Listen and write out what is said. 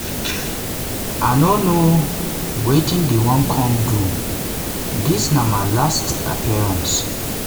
i no know wetin dem wan come do dis na my last appearance.